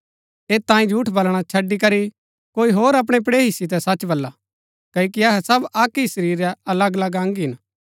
ऐत तांई झूठ बलणा छड़ी करी हर कोई अपणै पड़ेही सितै सच बल्ला क्ओकि अहै सब अक्क ही शरीर रै अलगअलग अंग हिन